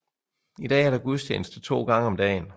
I dag er der gudstjeneste 2 gange om dagen